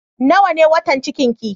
Nawa ne watan cikin ki?